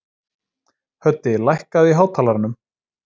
Höddi, lækkaðu í hátalaranum.